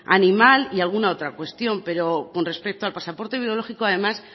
animal y alguna otra cuestión pero con respecto al pasaporte biológico además